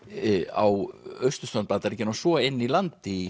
á austurströnd Bandaríkjanna og svo inni í landi í